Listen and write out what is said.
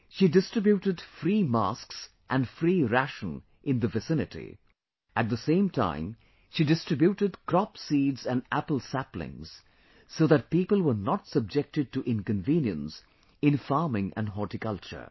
She distributed free masks & free ration in the vicinity; at the same time she distributed crop seeds & apple saplings so that people were not subjected to inconvenience in farming & horticulture